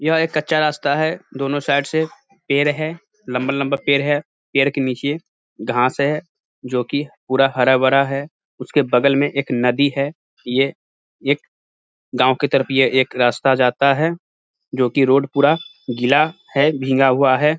यह एक कच्चा रस्ता है दोनो साइड से पेर है लंबा-लंबा पेर है। पेर के नीचे घास है जोकि पूरा हरा-भरा है उसके बगल में एक नदी है। ये एक गावं की तरफ एक रास्ता जाता है जोकि रोड पूरा गीला है भींगा हुआ है।